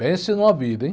Pense numa vida, hein?